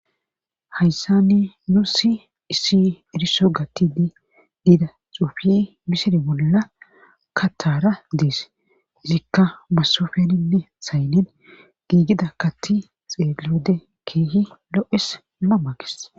hayssani nu si issi eriso gattini diida xuufi misire bolla kataara dees izikka masofeninne saynen giigida katti xeeglode keehi lo7es mamakes